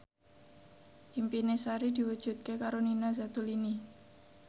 impine Sari diwujudke karo Nina Zatulini